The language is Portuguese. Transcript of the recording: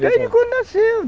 Desde quando nasceu.